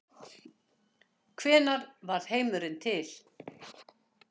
Hvenær varð heimurinn til?